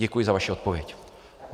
Děkuji za vaši odpověď.